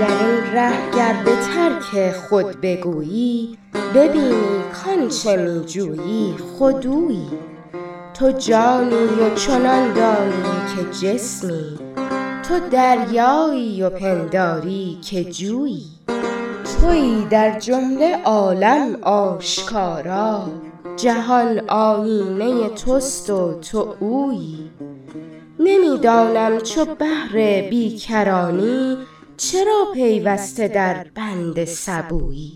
درین ره گر به ترک خود بگویی ببینی کان چه می جویی خود اویی تو جانی و چنان دانی که جسمی تو دریایی و پنداری که جویی تویی در جمله عالم آشکارا جهان آیینه توست و تو اویی نمی دانم چو بحر بیکرانی چرا پیوسته در بند سبویی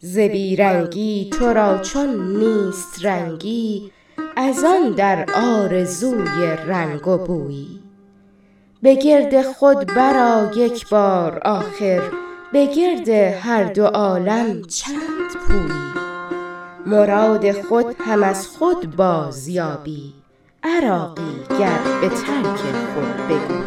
ز بی رنگی تو را چون نیست رنگی از آن در آرزوی رنگ و بویی به گرد خود برآ یک بار آخر به گرد هر دو عالم چند پویی مراد خود هم از خود بازیابی عراقی گر به ترک خود بگویی